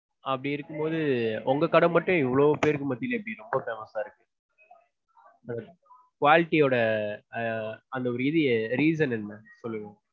அப்படி இருக்கும்போது உங்க கடை மட்டும் இவ்ளோ பேருக்கு மத்தியில எப்படி ரொம்ப famous ஆச்சு? quality யோட அஹ் அந்த ஒரு இது reason என்ன சொல்லுங்க.